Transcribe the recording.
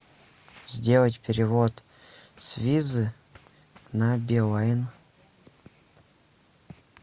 сделать перевод с визы на билайн